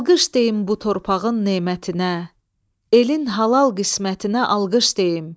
Alqış deyin bu torpağın nemətinə, elin halal qismətinə alqış deyin.